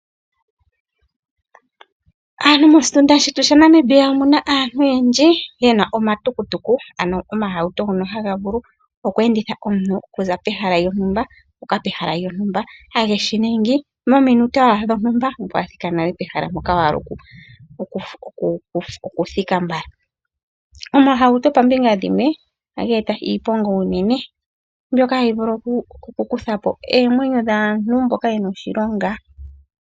Aantu moshitunda shetu shaNamibia omuna aantu oyendji yena omatukutuku ano omahauto ngono haga vulu okweenditha omuntu okuza pehala lyontumba okuya pehala lyontumba haye shi ningi mominute owala dhontumba ngweye owa thika nale pehala mpoka wa hala okuthika mbala. Omahauto poombinga dhimwe ohadhi iiponga unene mbyoka hadhi vulu okukuthapo oomwenyo dhaantu mboka yena oshilonga.